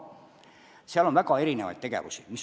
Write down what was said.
Seal on väga erinevaid tegevusi.